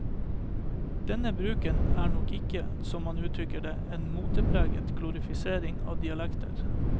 Denne bruken er nok ikke, som han uttrykker det, en motepreget glorifisering av dialekter.